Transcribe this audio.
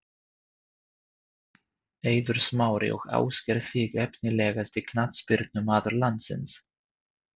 Eiður Smári og Ásgeir Sig Efnilegasti knattspyrnumaður landsins?